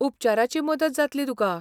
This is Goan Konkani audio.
उपचाराची मजत जातली तुका.